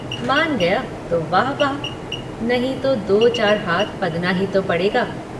मान गया तो वाह वाह नहीं तो दो चार हाथ पदना ही तो पड़ेगा।